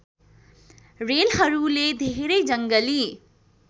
रेलहरूले धेरै जङ्गली